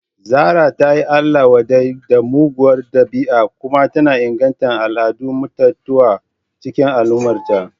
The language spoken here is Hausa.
Zarah ta yi Allah-wadai da muguwar dabi'a kuma tana inganta al'adar mutuntawa a cikin al'ummarta.